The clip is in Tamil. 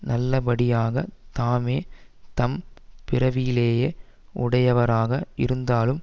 நல்லபடியாகத் தாமே தம் பிறவியிலேயே உடையவராக இருந்தாலும்